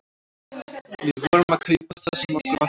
Við vorum að kaupa það sem okkur vantaði.